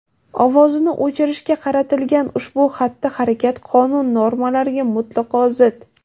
ovozini o‘chirishga qaratilgan ushbu xatti-harakat qonun normalariga mutlaqo zid.